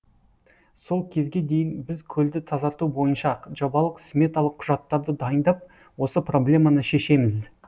сол кезге дейін біз көлді тазарту бойынша жобалық сметалық құжаттарды дайындап осы проблеманы шешеміз